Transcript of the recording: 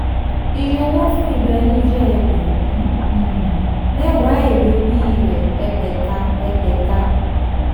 ìyọwọ́ fún ìlò ẹni jẹ́ ẹgbẹ̀rún um mẹ́wàá èrè orí rẹ̀ ẹ̀ẹ́gbẹ̀ta. ẹ̀ẹ́gbẹ̀ta.